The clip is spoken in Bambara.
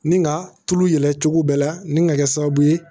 Ni ka tulu yɛlɛ cogo bɛɛ la nin ka kɛ sababu ye